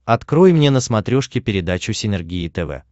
открой мне на смотрешке передачу синергия тв